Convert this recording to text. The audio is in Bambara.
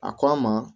A ko a ma